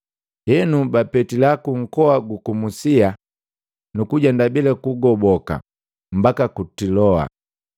Henu, bapetila ku nkoa guku Musia, nuku jenda bila kugoboka mbaki ku Tiloa.